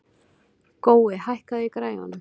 Gói, hækkaðu í græjunum.